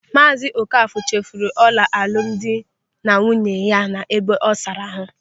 Maazị Ókafọ̀ chefuru ọla alụmdi na nwunye ya n'ebe ọ saara ahụ.